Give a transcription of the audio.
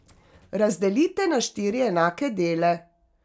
Razdelite na štiri enake dele.